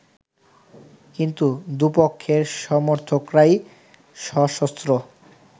কিন্তু দুপক্ষের সমর্থকরাই সশস্ত্র